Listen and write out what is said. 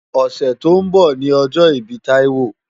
Òsè tó n bò ni òjò ibi Taiwo